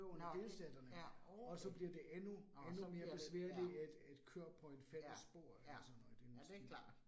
Nåh det. Ja, okay, nåh så bliver det, ja, ja, ja. Ja, det klart